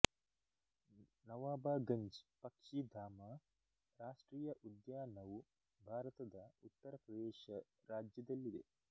ನವಾಬಗಂಜ್ ಪಕ್ಷಿ ಧಾಮ ರಾಷ್ಟ್ರೀಯ ಉದ್ಯಾನವು ಭಾರತದ ಉತ್ತರ ಪ್ರದೇಶ ರಾಜ್ಯದಲ್ಲಿದೆ